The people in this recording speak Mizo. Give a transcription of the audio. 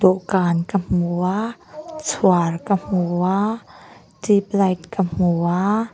dawhkan ka hmu a chhuar ka hmu a tube light ka hmu a.